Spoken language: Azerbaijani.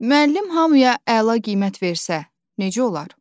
Müəllim hamıya əla qiymət versə, necə olar?